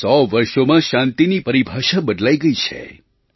છેલ્લાં 100 વર્ષોમાં શાંતિની પરિભાષા બદલાઈ ગઈ છે